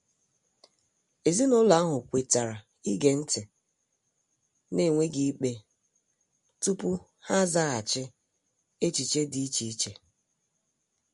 Ezinụlọ ahụ kwetara ige nti n'enweghi ikpe tupu ha azaghachi echiche di iche iche.